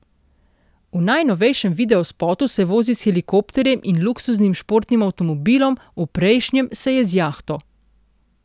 V najnovejšem videospotu se vozi s helikopterjem in luksuznim športnim avtomobilom, v prejšnjem se je z jahto.